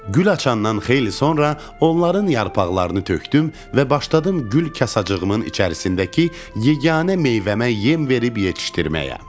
Gül açandan xeyli sonra onların yarpaqlarını tökdüm və başladım gül kasaçığımın içərisindəki yeganə meyvəmə yem verib yetişdirməyə.